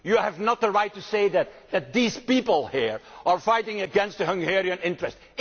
You do not have the right to say that, that these people here are fighting against Hungarian interests.